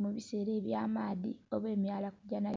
mubisera eby'amaadhi oba...